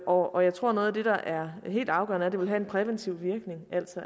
og jeg tror at noget af det der er helt afgørende er at det vil have en præventiv virkning